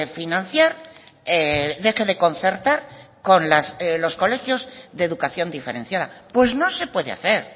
financiar deje de concertar con los colegios de educación diferenciada pues no se puede hacer